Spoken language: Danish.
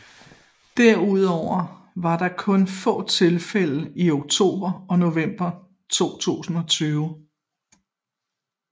Derudover var der kun få tilfælde i oktober og november 2020